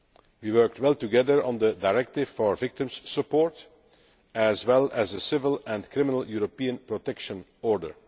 We worked well together on the directive for victim support, as well as on a civil and criminal European Protection Order.